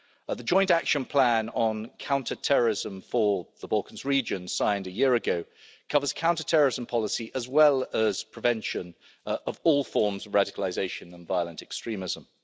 The Joint Action Plan on Counter Terrorism for the Western Balkans, signed a year ago, covers counter-terrorism policy as well as prevention of all forms of radicalisation and violent extremism.